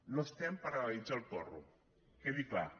no estem per legalitzar el porro quedi clar